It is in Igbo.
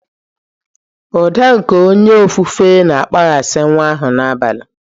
Ụda nke onye ofufe na-akpaghasị nwa ahụ n'abalị.